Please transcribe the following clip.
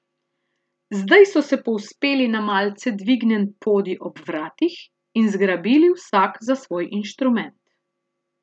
Zdaj so se povzpeli na malce dvignjen podij ob vratih in zgrabili vsak za svoj inštrument.